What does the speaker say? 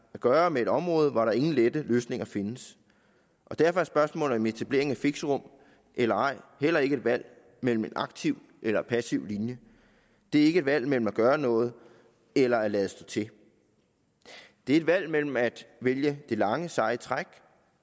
gøre med et område hvor der ingen lette løsninger findes derfor er spørgsmålet om etablering af fixerum eller ej heller ikke et valg mellem en aktiv eller en passiv linje det er ikke et valg mellem at gøre noget eller at lade stå til det er et valg mellem at vælge det lange seje træk